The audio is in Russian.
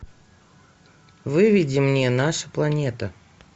выведи мне наша планета